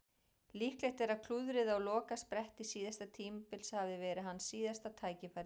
Líklegt er að klúðrið á lokaspretti síðasta tímabils hafi verið hans síðasta tækifæri.